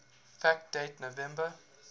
fact date november